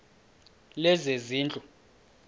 lezezindlu